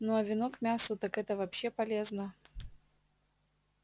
ну а вино к мясу так это вообще полезно